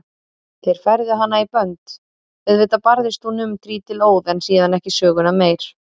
Þeir færðu hana í bönd, auðvitað barðist hún um trítilóð en síðan ekki söguna meir.